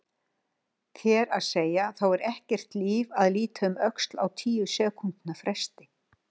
Þér að segja, þá er ekkert líf að líta um öxl á tíu sekúndna fresti.